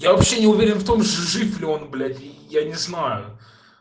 я вообще не уверен в том что жив ли он блять я не знаю